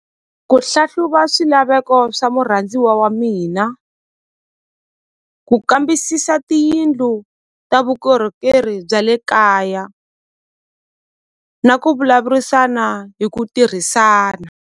Ku hlahluva swilaveko swa murhandziwa wa mina ku kambisisa tiyindlu ta vukorhokeri bya le kaya na ku vulavurisana hi ku tirhisana.